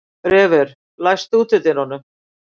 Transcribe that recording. Refur, læstu útidyrunum.